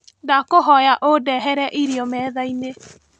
Ndakũhoya ũndehere irio methainĩ.